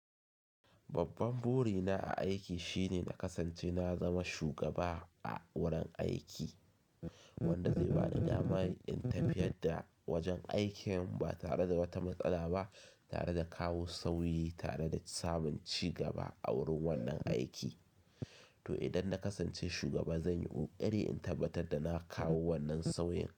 Babban buri na a aiki shine na kasance na zama shugaba a wurin aiki, wanda zai ba ni damar in tafiyar da wajen aikin ba tare da wata matsala ba, tare da kawo sauyi tare da samun ci gaba a wurin wannan aiki. To idan na kasance shugaba, zan yi ƙoƙari in tabbatar da na kawo wannan sauyin.